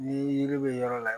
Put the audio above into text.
Ni yiri bɛ yɔrɔ la